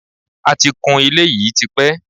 A ti kun ilé yìí tipẹ́